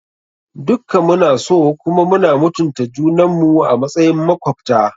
Dukka mu na so kuma muna mutunta junan mu a matsayin makwabta.